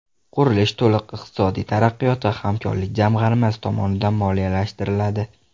Qurilish to‘liq Iqtisodiy taraqqiyot va hamkorlik jamg‘armasi tomonidan moliyalashtiriladi.